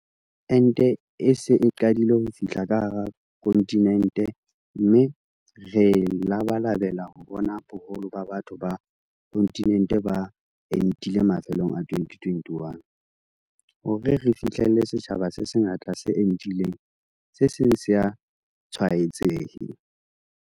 Ente e se e qadile ho fihla ka hara kontinente mme re labalabela ho bona boholo ba batho ba kontinente ba entile mafelong a 2021, hore re fihlelle setjhaba se sengata se entileng se seng se sa tshwaetsehe.